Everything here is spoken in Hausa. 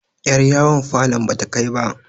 yar yawon falon bata Kai ba